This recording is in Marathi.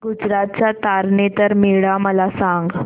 गुजरात चा तारनेतर मेळा मला सांग